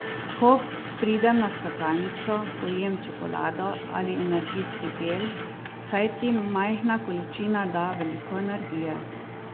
Ko pridem na skakalnico, pojem čokolado ali energijski gel, saj ti majhna količina da veliko energije.